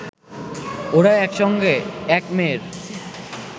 ওঁরা একসঙ্গে, এক মেয়ের